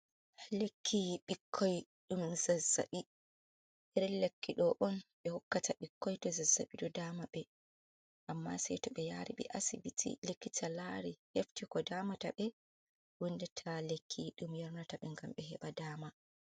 Lekki ɓikkoi ɗum zazzaɓi, iri lekki do on ɓe hokkata ɓikkoi to zazzaɓi do dama ɓe amma sei to ɓe yari be asibiti lekkita lari hefti ko damata ɓe windata lekki dum yarnata ɓe ngam ɓe heɓa dama.